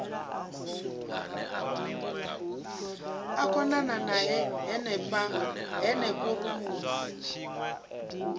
a konana nae henefho rumuni